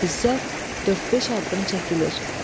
İzzət dörd-beş addım çəkilir.